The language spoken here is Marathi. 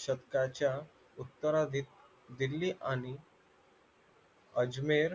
शतकाच्या उतराधीत दिल्ली आणि अजमेर